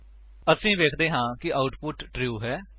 ਅਸੀ ਵੇਖਦੇ ਹਾਂ ਕਿ ਆਉਟਪੁਟ ਟਰੂ ਹੈ